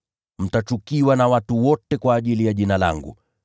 Mtachukiwa na watu wote kwa ajili ya Jina langu.